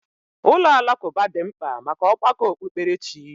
Ụlọ alakụba dị mkpa maka ọgbakọ okpukperechi.